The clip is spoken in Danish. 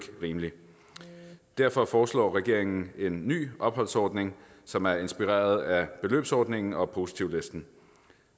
rimeligt derfor foreslår regeringen en ny opholdsordning som er inspireret af beløbsordningen og positivlisten